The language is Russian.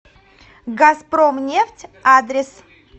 газпромнефть адрес